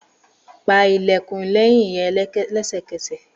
Pa ilẹkun lẹhin rẹ lẹsẹkẹsẹ!